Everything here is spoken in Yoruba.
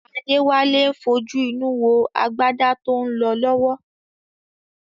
Adéwálé ń fojú inú wo agbádá tó ń lọ lọ́wọ́